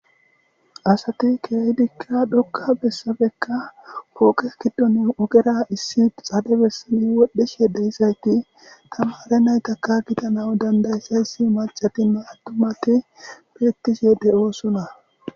Asati keeydikka dhokka bessabekka pooqe giddon ogera issi xade bessani wodhdheshye deyisayti tamare naytaka gitanaw dandayyssa yssi macatinna attumati birttisiyede oosona.